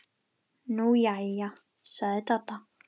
Nú jæja sagði Dadda.